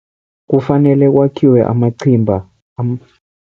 Kufanele kwakhiwe amachimba